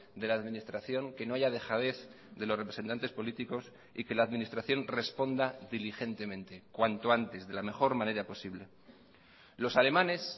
de la administración que no haya dejadez de los representantes políticos y que la administración responda diligentemente cuanto antes de la mejor manera posible los alemanes